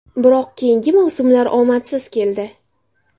Biroq keyingi mavsumlar omadsiz keldi.